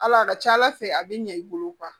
Ala a ka ca ala fɛ a bɛ ɲɛ i bolo